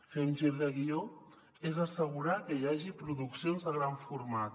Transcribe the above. fer un gir de guió és assegurar que hi hagi produccions de gran format